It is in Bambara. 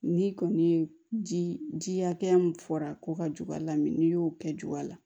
N'i kɔni ye ji hakɛya min fɔra k'o ka jug'a la n'i y'o kɛ ju la